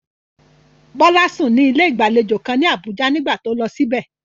Bola sùn ní ilé ìgbàlejò kan ní Abuja nígbà tó lọ síbẹ̀.